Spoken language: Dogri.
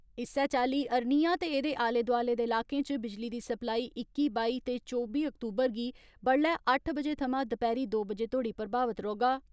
इस्सै चाली अरनिया ते एदे आले दोआले दे इलाकें च बिजली दी सप्लाई इक्की बाई ते चौबी अक्तूबर बी गी बड्डलै अट्ठ थमां दपैहरी दो बजे तोड़ी प्रभावित रौहगा।